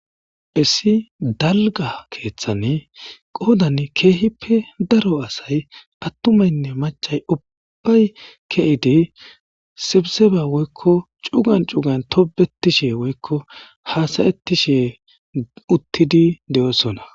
Issi dalga keeththane qoodan keehippe daro asay attumaynne macay ubbay ke7idi sibiseba woykko cugan cugan tobetishe woykko haasayetti she uttidi de7oosona.